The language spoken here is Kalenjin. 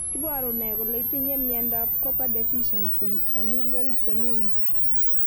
Iporu ne kole itinye miondap Copper deficiency, familial benign?